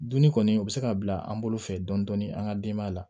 Dunni kɔni u bɛ se ka bila an bolo fɛ dɔɔnin dɔɔnin an ka denbaya la